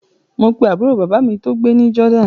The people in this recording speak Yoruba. Mo pe àbúrò bàbá mi tó gbé ní Jordan